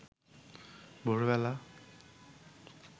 ভোরবেলা